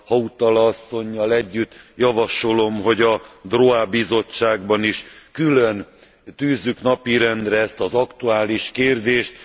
Hautala asszonnyal együtt javasolom, hogy a droit bizottságban is külön tűzzük napirendre ezt az aktuális kérdést.